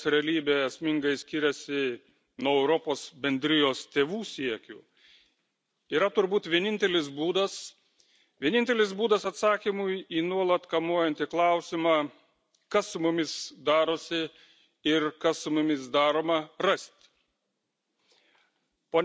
Ieškoti, kodėl Europos Sąjungos realybė esmingai skiriasi nuo Europos Bendrijos tėvų siekių, yra turbūt vienintelis būdas atsakymui į nuolat kamuojantį klausimą, kas su mumis darosi ir kas su mumis daroma, rasti.